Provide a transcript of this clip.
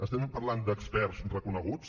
estem parlant d’experts reconeguts